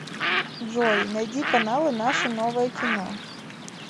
джой найди каналы наше новое кино